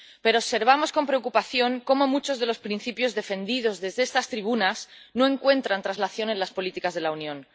Pero observamos con preocupación cómo muchos de los principios defendidos desde estas tribunas no encuentran traslación en las políticas de la Unión.